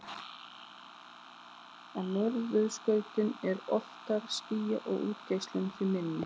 Á norðurskautinu er oftar skýjað og útgeislun því minni.